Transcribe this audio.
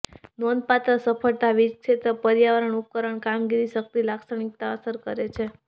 નોંધપાત્ર સફળતા વીજ ક્ષેત્ર પર્યાવરણ ઉપકરણ કામગીરી શક્તિ લાક્ષણિકતા અસર કરે છે